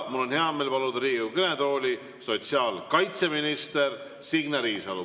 Mul on hea meel paluda Riigikogu kõnetooli sotsiaalkaitseminister Signe Riisalo.